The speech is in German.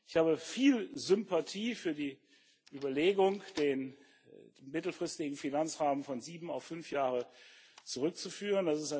Ich habe viel Sympathie für die Überlegung, den mittelfristigen Finanzrahmen von sieben auf fünf Jahre zurückzuführen.